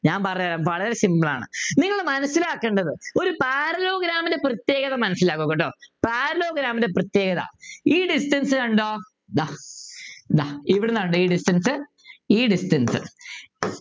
ഞാൻ പറയാൻ വളരെ Simple ണ് നിങ്ങൾ മനസ്സിലാക്കേണ്ടത് ഒരു Parallelogram പ്രത്യേകത മനസ്സിലാക്ക ട്ടോ Parallelogram ൻ്റെ പ്രത്യേകത ഈ Distance കണ്ടോ ദാ ദാ ഇവിടുന്നാ കേട്ടോ ഈ Distance ഈ Distance